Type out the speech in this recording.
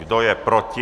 Kdo je proti?